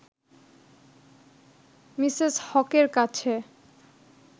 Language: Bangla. মিসেস হকের কাছে